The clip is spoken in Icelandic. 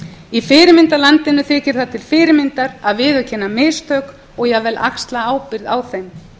í fyrirmyndarlandinu þykir það til fyrirmyndar að viðurkenna mistök og jafnvel axla ábyrgð á þeim